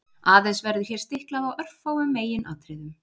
Aðeins verður hér stiklað á örfáum meginatriðum.